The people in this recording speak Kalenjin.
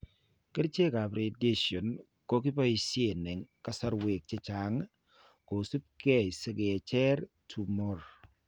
Kerchekap radiation ko kiboisie eng' kasarwek chechang' kosubi keeny' si kecher tumor.